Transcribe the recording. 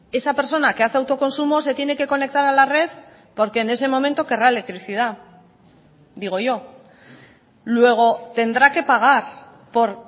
esa persona que hace autoconsumo se tiene que conectar a la red porque en ese momento querrá electricidad digo yo luego tendrá que pagar por